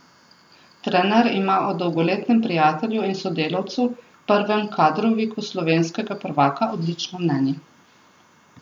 Trener ima o dolgoletnem prijatelju in sodelavcu, prvem kadroviku slovenskega prvaka, odlično mnenje.